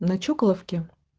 на чоколовке